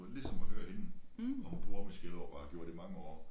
Ligesom at høre hende og hun bor omme i Skellerup og har gjort i mange år